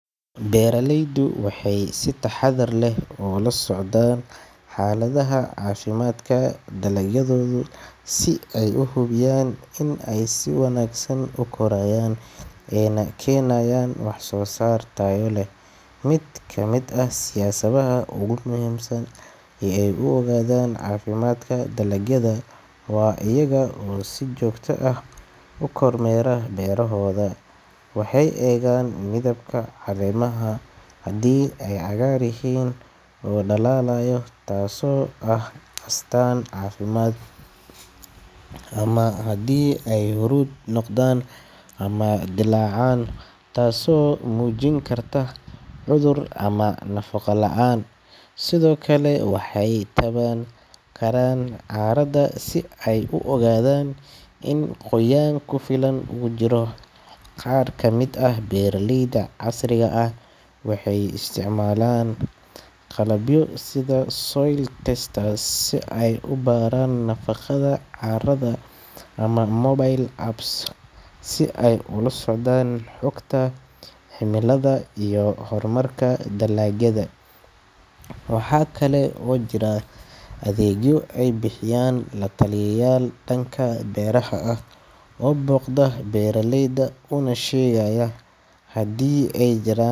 Beeralaydu waxay si taxaddar leh ula socdaan xaaladda caafimaadka dalagyadooda si ay u hubiyaan in ay si wanaagsan u korayaan ayna keenayaan waxsoosaar tayo leh. Mid ka mid ah siyaabaha ugu muhiimsan ee ay u ogaadaan caafimaadka dalagyada waa iyaga oo si joogto ah u kormeera beerahooda. Waxay eegaan midabka caleemaha, haddii ay cagaar yihiin oo dhalaalaya, taasoo ah astaan caafimaad, ama haddii ay huruud noqdaan ama dillaacaan taasoo muujin karta cudur ama nafaqo la’aan. Sidoo kale, waxay taaban karaan carrada si ay u ogaadaan in qoyaan ku filan uu jiro. Qaar ka mid ah beeraleyda casriga ah waxay isticmaalaan qalabyo sida soil testers si ay u baaraan nafaqada carrada ama mobile apps si ay ula socdaan xogta cimilada iyo horumarka dalagyada. Waxaa kale oo jira adeegyo ay bixiyaan la-taliyayaal dhanka beeraha ah oo booqda beeraleyda una sheegaya haddii ay jiraan.